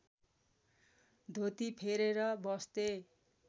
धोती फेरेर बस्थे